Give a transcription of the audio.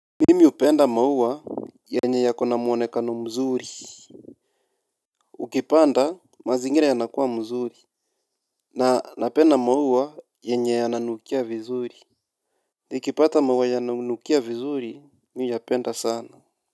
Mimi upenda maua yenye yako namuonekano mzuri. Ukipanda mazingira yanakua mzuri. Na napenda maua yenye yananukia vizuri. Nikipata maua yenye yananukia vizuri, mi yapenda sana.